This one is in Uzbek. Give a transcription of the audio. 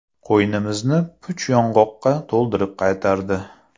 Qo‘ynimizni puch yong‘oqqa to‘ldirib qaytardi.